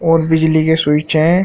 और बिजली के स्विच हैं।